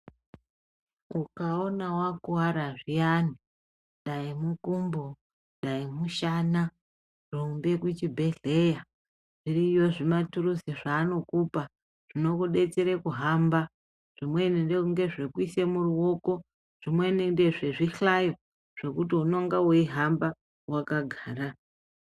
Ukaona wakuwara zviyani dai mukumbo dai mushana rumba kuchibhedhleya zviriyo zvimaturuzi zvaanokupa zvinokudetsera kuhamba zvimweni ngezvekuisa muruoko zvimweni ngezvezvihlayo zvokuti unonga weihamba wakagara.